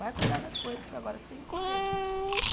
Vai cuidar das coisas, porque agora você tem que correr.